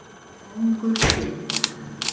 Kóngur hét.